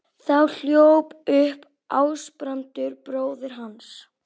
Þá hljóp upp Ásbrandur bróðir hans.